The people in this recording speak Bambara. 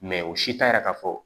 o si t'a yira ka fɔ